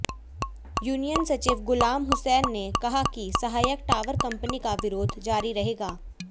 union सचिव गुलाम हुसैन ने कहा कि सहायक टावर कंपनी का विरोध जारी रहेगा